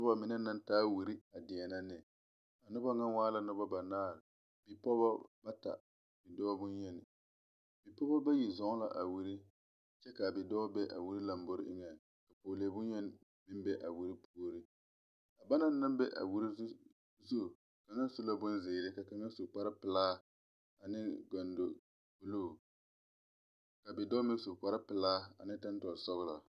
Noba mine naŋ taa wire a deɛnɛ ne a noba meŋ waa la nobo banaare bipɔgebɔ bata dɔɔ bonyeni bipɔɔbo bayi zɔɔ la a wire kyɛ kaa bidɔɔ be a wire lambore eŋaŋ pɔɔlee bonye meŋ be a wire puoriŋ a ba naŋ be a wire zu kaŋa su la bonzeere ka kaŋ su kparepilaa aneŋ gondo bluu ka bidɔɔ meŋ su kparepilaa ane tɔntɔle sɔglaa.